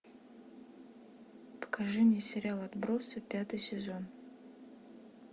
покажи мне сериал отбросы пятый сезон